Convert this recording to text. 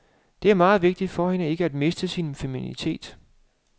Det er meget vigtigt for hende ikke at miste min femininitet.